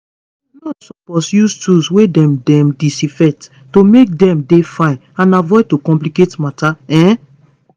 nurses suppose use tools wey dem dem disinfect to make dem dey fine and avoid to complicate matter um